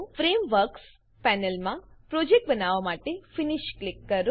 frameworks પેનલમાં project બનાવવા માટે ફિનિશ ક્લિક કરો